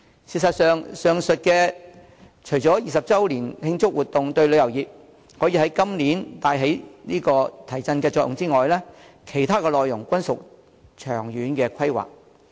事實上，上述除回歸20周年的慶祝活動可於今年對旅遊業帶來提振作用之外，其他內容均屬長遠規劃。